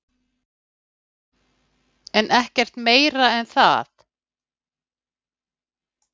Þórhildur: Fær fólk ekkert sektir fyrir að vera svona snemma á nöglum?